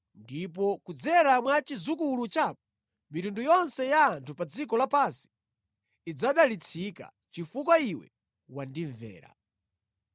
ndipo kudzera mwa chidzukulu chako, mitundu yonse ya anthu pa dziko lapansi idzadalitsika, chifukwa iwe wandimvera.”